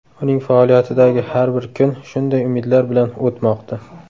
Uning faoliyatidagi har bir kun shunday umidlar bilan o‘tmoqda.